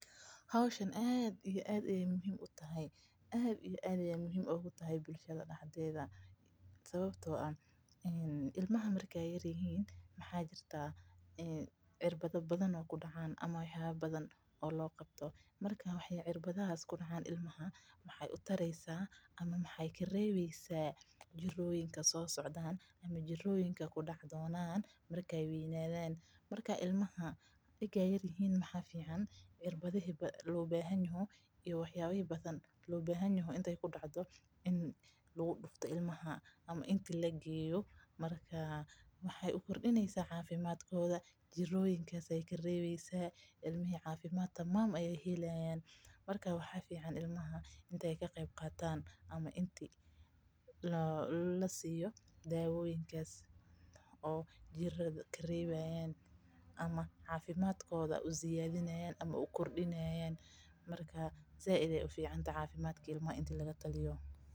Hawshan aad iyo aad ay muhiim ugu tahay sababto aah ilmaha markay yaarihiin mxaa jirta cirbadha badhan oo ku dacaan oo wax yaaba badhan oo logabto. Marka waxay cirbadhaas ku dacan ilmaha waxay u taraysa ama maxay kareybeysa jiroyinkaan so socdaan ama jiroyinka kudace doonan markay weynadhan. Marka ilmaha markay yarihiin mxaa ficaan xirbadhihii loo bahanyoho iyo waxaba badaan loo bahanyoho intay kudacdo in lagudufto ilmaha ama inta lageeyo markaa maxay u kordinaysa cafimadkoodha jiroyinkas ay kareybeysa ilmihi cafimaad tamam ay helayan. Marka waxa ficaan ilmaha intay ka qeyb qataan ama inti lasiyo dawoyinkaas oo jirada karebayan ama cafimadkodha u ziyadinay ama u koordinayan marka zaid ay u ficantahay cafimaad ilmaha inta lagataliyo.